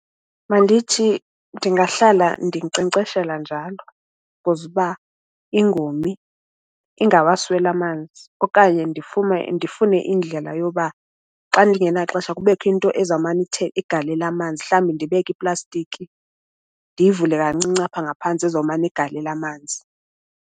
Mandithi ndingahlala ndinkcenkceshela njalo because uba ingomi ingawasweli amanzi. Okanye ndifune indlela yoba xa ndingenaxesha kubekho into ezawumane ithe igalela amanzi. Mhlawumbi ndibeke iiplastiki ndiyivule kancinci apha ngaphantsi ezomane igalela amanzi.